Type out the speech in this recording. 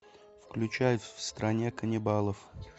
включай в стране каннибалов